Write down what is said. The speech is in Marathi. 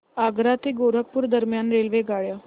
आग्रा ते गोरखपुर दरम्यान रेल्वेगाड्या